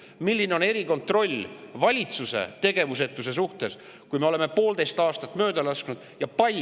Milline on erikontroll valitsuse tegevusetuse suhtes, kui me oleme poolteist aastat mööda lasknud?